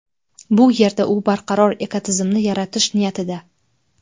Bu yerda u barqaror ekotizimni yaratish niyatida.